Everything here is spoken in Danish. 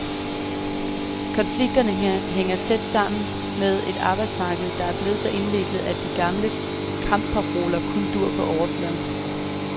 Konflikterne hænger tæt sammen med et arbejdsmarked, der er blevet så indviklet, at de gamle kampparoler kun duer på overfladen.